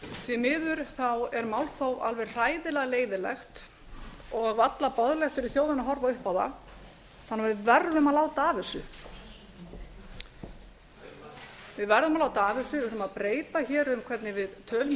því miður er málþóf alveg hræðilega leiðinlegt og varla boðlegt fyrir þjóðina að horfa upp á það þannig að við verðum að láta af þessu við verðum að láta af þessu við ætlum að breyta hér um hvernig við tölum í